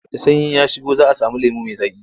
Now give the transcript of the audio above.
Da sanyi ya shigo za a sami lemo mai zaƙi.